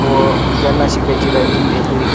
व ज्यांना शिकायची राहती ते बी --